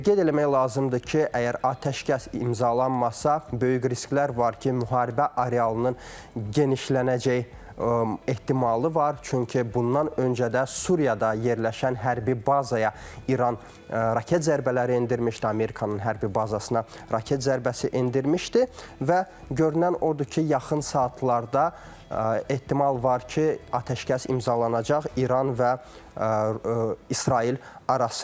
Qeyd eləmək lazımdır ki, əgər atəşkəs imzalanmasa, böyük risklər var ki, müharibə arealının genişlənəcəyi ehtimalı var, çünki bundan öncə də Suriyada yerləşən hərbi bazaya İran raket zərbələri endirmişdi, Amerikanın hərbi bazasına raket zərbəsi endirmişdi və görünən odur ki, yaxın saatlarda ehtimal var ki, atəşkəs imzalanacaq İran və İsrail arasında.